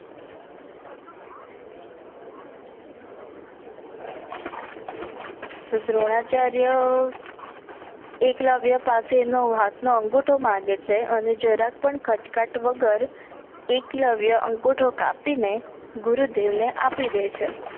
તો દ્રોણાચાર્ય. એકલવ્ય પાસે એનો હાત નો અંગુઠો માંગે છે જરાક પણ ક્રચકાટ વગર એકલવ્ય એંગુઠો કાપી ને ગુરુદેવ ને આપી દે છે.